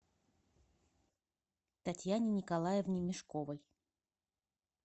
татьяне николаевне мешковой